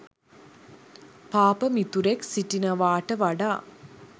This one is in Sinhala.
පාප මිතුරෙක් සිටිනවාට වඩා